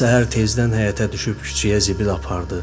Hər səhər tezdən həyətə düşüb küçəyə zibil apardı.